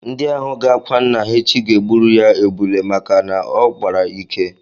Ndị ahụ ga-akwa nna ha echi ga-egburu ya ebule maka na ọ kpara ike